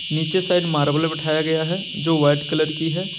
नीचे side marble बिठाया गया है जो वाइट कलर की है।